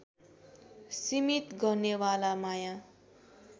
सीमित गर्नेवाला माया